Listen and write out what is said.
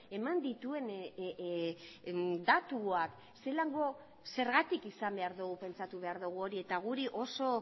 eman dituen datuak zelango zergatik izan behar du pentsatu behar dugu hori eta guri oso